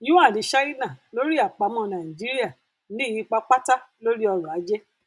yuan china lórí àpamọ nàìjíríà ní ipa pátá lórí ọrọ ajé